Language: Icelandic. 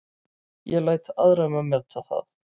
Ég læt aðra um að meta það.